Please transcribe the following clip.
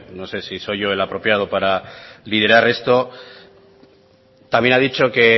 no sé si soy yo el apropiado para liderar esto también ha dicho que